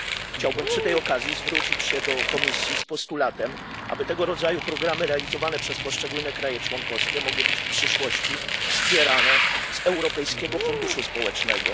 Chciałbym przy tej okazji zwrócić się do Komisji z postulatem, aby tego rodzaju programy realizowane przez poszczególne państwa członkowskie mogły być w przyszłości wspierane z Europejskiego Funduszu Społecznego.